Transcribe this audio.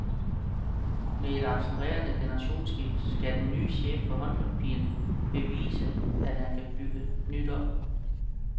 Med et accelererende generationsskifte skal den nye chef for håndboldpigerne bevise, at han kan bygge nyt op.